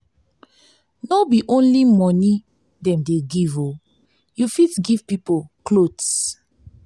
no be only moni dem dey give o you fit give pipo clothes.